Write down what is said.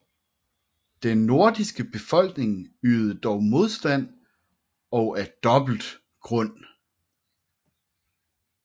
Den nordiske befolkning ydede dog modstand og af dobbelt grund